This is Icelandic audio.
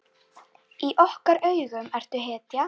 Í okkar augum ertu hetja.